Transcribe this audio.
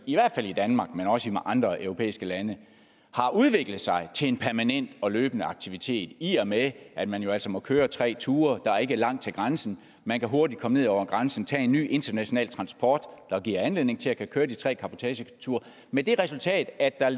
i hvert fald i danmark men også i andre europæiske lande udviklet sig til en permanent og løbende aktivitet i og med at man jo altså må køre tre ture der er ikke langt til grænsen og man kan hurtigt komme ned over grænsen og tage en ny international transport der giver anledning til at kunne køre de tre cabotageture med det resultat at der